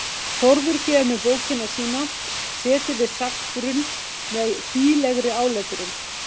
Þórður gefur mér bókina sína, Setið við sagnabrunn, með hlýlegri áletrun.